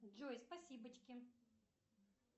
джой спасибочки